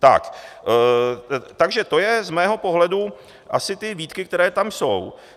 Takže to jsou z mého pohledu asi ty výtky, které tam jsou.